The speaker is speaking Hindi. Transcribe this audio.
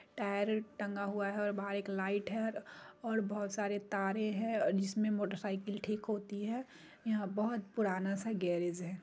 टायर टंगा हुआ है और बहार एक लाइट है और बहुत सारे तारे हैं जिसमें मोटरसाइकिल ठीक होती है यहाँ बहुत पुराना सा गैराज है ।